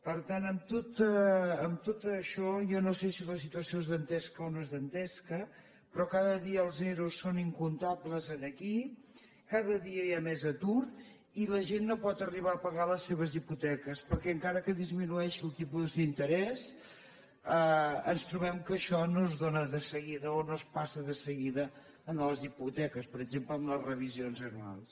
per tant amb tot això jo no sé si la situació és dantesca o no és dantesca però cada dia els ero són incomptables aquí cada dia hi ha més atur i la gent no pot arribar a pagar les seves hipoteques perquè encara que disminueixi el tipus d’interès ens trobem que això no es dóna de seguida o no es passa de seguida en les hipoteques per exemple en les revisions anuals